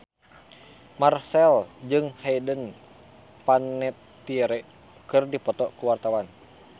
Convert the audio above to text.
Marchell jeung Hayden Panettiere keur dipoto ku wartawan